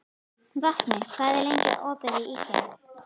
Vápni, hvað er lengi opið í IKEA?